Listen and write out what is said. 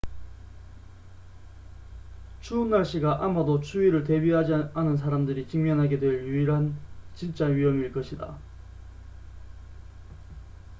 추운 날씨가 아마도 추위를 대비하지 않은 사람들이 직면하게 될 유일한 진짜 위험일 것이다